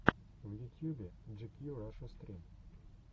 в ютьюбе джикью раша стрим